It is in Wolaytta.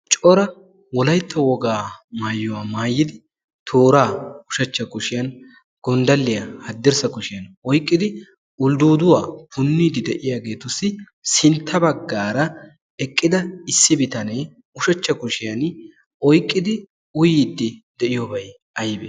cora wolaytta wogaa maayuwa maayidi tooraa ushacha kushiyan gondaliya hadirtssa kushiyan oyqidi ulduuduwa puniidi deiya asatuppe sinta bagaara eqida bitanee hadirssa kushiyan oyqidobay aybee?